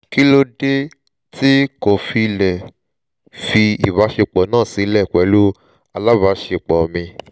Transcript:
kí ló dé tí n kò fi lè fi ìbáṣepọ̀ náà sílẹ̀ pẹ̀lú alábàáṣepọ̀ mi?